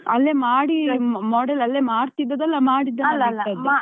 ಅಲ್ಲೇ ಮಾಡಿ model ಅಲ್ಲೇ ಮಾಡ್ತಿದ್ದದ್ದಾ ಅಲ್ಲ. ಮಾಡಿದ್ದನ್ನು ಅಲ್ಲೇ ಇಟ್ಟದ್ದು